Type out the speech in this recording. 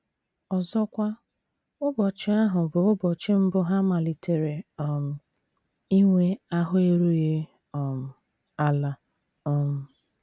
Ọzọkwa, ụbọchị ahụ bụ ụbọchị mbụ ha malitere um inwe ahụ́ erughị um ala um.